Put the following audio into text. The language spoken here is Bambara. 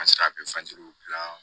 An sera gilan